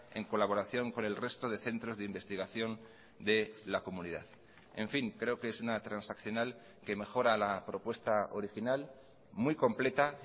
en colaboración con el resto de centros de investigación de la comunidad en fin creo que es una transaccional que mejora la propuesta original muy completa